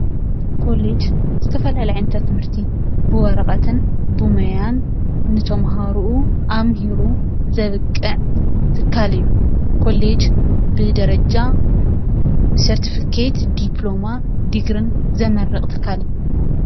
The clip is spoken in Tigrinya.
ኮሌጅ ዝተፈላለዩ ዓይነታት ትምህርቲ ብወረቀትን ብሞያን ንተማሃርኡ ኣምሂሩ ዘብቅዕ ትካል እዩ፡፡ ኮሌጅ ብደረጃ ሰርቲፊኬት፣ ዲፕሎማ፣ ዲግርን ዘምርቅ ትካል እዩ፡፡